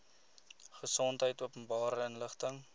gesondheid openbare inligting